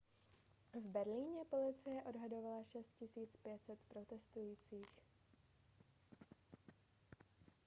v berlíně policie odhadovala 6 500 protestujících